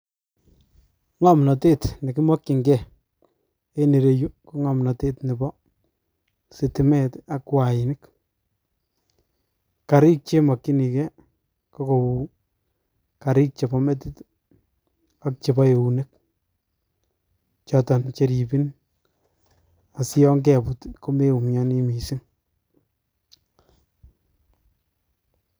Ng'omnotet nekimokyingee en ireyu ko ng'omnotet nepo sitimet ak wainik, karik chemokyinige ko kou karik chepo metit ak chepo eunek choton cheripin asiyon keput komeumiani mising.